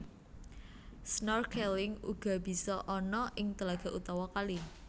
Snorkeling uga bisa ana ing telaga utawa kali